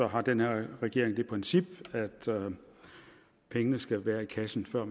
har den her regering det princip at pengene skal være i kassen før